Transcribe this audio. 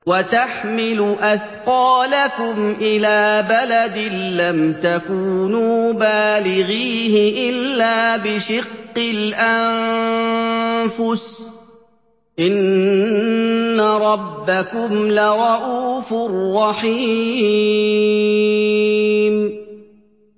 وَتَحْمِلُ أَثْقَالَكُمْ إِلَىٰ بَلَدٍ لَّمْ تَكُونُوا بَالِغِيهِ إِلَّا بِشِقِّ الْأَنفُسِ ۚ إِنَّ رَبَّكُمْ لَرَءُوفٌ رَّحِيمٌ